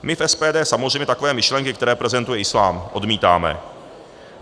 My v SPD samozřejmě takové myšlenky, které prezentuje islám, odmítáme.